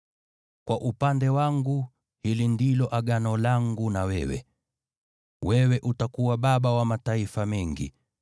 “Kwa upande wangu, hili ndilo Agano langu na wewe: Wewe utakuwa baba wa mataifa mengi.